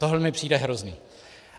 Tohle mi přijde hrozné.